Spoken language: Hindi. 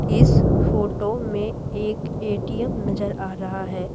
इस फोटो में एक एटीएम नजर आ रहा है।